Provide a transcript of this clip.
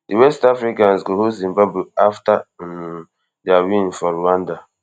di west africans go host zimbabwe afta um dia win for rwanda